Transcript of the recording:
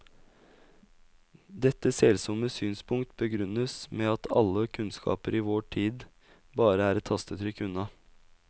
Dette selsomme synspunkt begrunnes med at alle kunnskaper i vår tid bare er et tastetrykk unna.